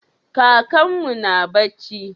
Kakanmu na barci?